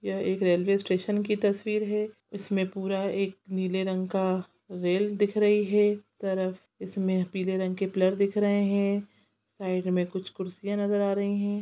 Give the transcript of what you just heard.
यह एक railway station तस्वीर हैं इसमें पूरा एक नीले रंग का रेल दिख रही हैं तरफ़ इसमें पीले रंग के पिलर दिख रहे हैं साईड मे कुछ कुर्सियां नज़र आ रही हैं।